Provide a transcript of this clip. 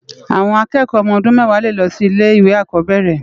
Awòn àkèèkò òmò òdún mèwá lé lo si ile iwé ákòbèrè